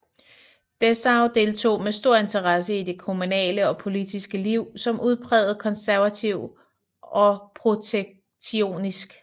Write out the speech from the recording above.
Dessau deltog med stor interesse i det kommunale og politiske Liv som udpræget konservativ og protektionist